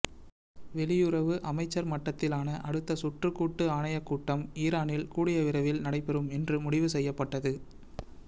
வெளியுறவு அமைச்சர் மட்டத்திலான அடுத்த சுற்று கூட்டு ஆணையக் கூட்டம் ஈரானில் கூடிய விரைவில் நடைபெறும் என்று முடிவு செய்யப்பட்டது